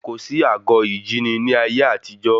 Kò sí àgọ ìjíni ní ayé àtijọ́